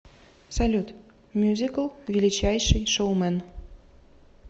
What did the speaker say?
салют мюзикл величайший шоумэн